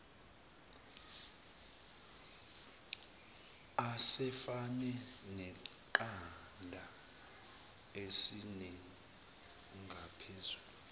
asefane neqanda esinengaphezulu